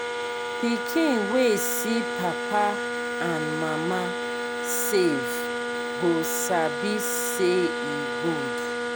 pikin wey see papa and mama save go sabi say e good.